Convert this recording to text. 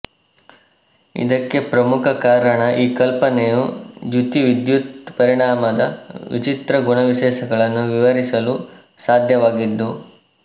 ಇದಕ್ಕೆ ಪ್ರಮುಖ ಕಾರಣ ಈ ಕಲ್ಪನೆಯು ದ್ಯುತಿವಿದ್ಯುತ್ ಪರಿಣಾಮದ ವಿಚಿತ್ರ ಗುಣವಿಶೇಷಗಳನ್ನು ವಿವರಿಸಲು ಸಾಧ್ಯವಾಗಿದ್ದು